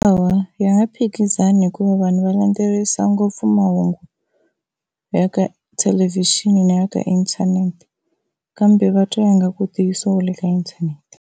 Hawa ya nge phikizani hikuva vanhu va landzelerisa ngopfu mahungu ya ka thelevixini na ya ka inthanete, kambe va twa nga ku ntiyiso u le ka inthanete.